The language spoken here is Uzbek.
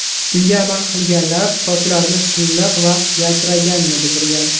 Unga amal qilganlar sochlarini silliq va yaltiraganini bildirgan.